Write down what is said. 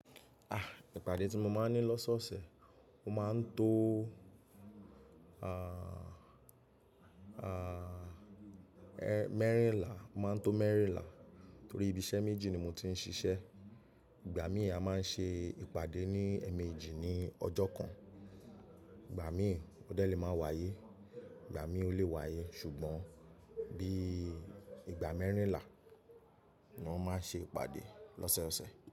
Ah, ìpàdé tí mo máa ń ní lọ́sọ̀ọ̀sẹ̀, o máa ń to, ah, ah, ẹ́ mẹ́rìnlá, o máa ń tó mẹ́rìnlá torí ibi iṣẹ́ méjì ni mo ti ń ṣiṣẹ́. Ìgbà mí a máa ń ṣe ìpàdé ní ẹ̀ẹ̀mejì ní ọjọ́ kan. Ìgbà mí ò dẹ lè máa wáyé, ìgbà mí ò lè wáyé ṣùgbọ́n bí ìgbà mẹ́rìnlá ni wọ́n máa n ṣe ìpàdé lọ́sọ̀ọ̀sẹ̀